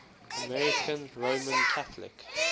american roman catholic